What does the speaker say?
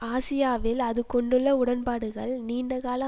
ஆசியாவில் அது கொண்டுள்ள உடன்பாடுகள் நீண்டகால